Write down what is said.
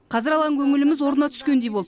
қазір алаң көңіліміз орнына түскендей болды